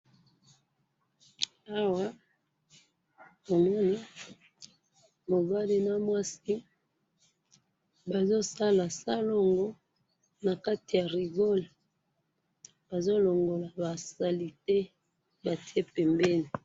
awa namoni mobali na mwasi bazo sala salongo nakati ya rigole bazo longola ba salette ba tie bembeni